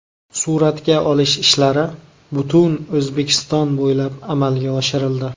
Suratga olish ishlari butun O‘zbekiston bo‘ylab amalga oshirildi.